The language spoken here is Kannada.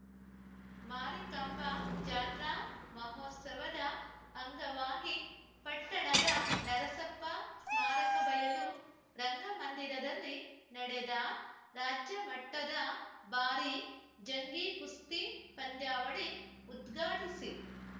ಮಾರಿಕಾಂಬಾ ಜಾತ್ರಾ ಮಹೋತ್ಸವದ ಅಂಗವಾಗಿ ಪಟ್ಟಣದ ನರಸಪ್ಪ ಸ್ಮಾರಕ ಬಯಲು ರಂಗಮಂದಿರದಲ್ಲಿ ನಡೆದ ರಾಜ್ಯ ಮಟ್ಟದ ಭಾರಿ ಜಂಗಿಕುಸ್ತಿ ಪಂದ್ಯಾವಳಿ ಉದ್ಘಾಟಿಸಿ